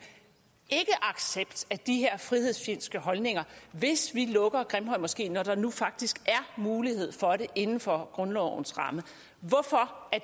ikkeaccept af de her frihedsfjendske holdninger hvis vi lukker grimhøjmoskeen når der nu faktisk er mulighed for det inden for grundlovens ramme hvorfor